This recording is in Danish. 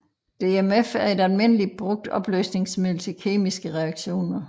DMF er et almindeligt brugt opløsningsmiddel til kemiske reaktioner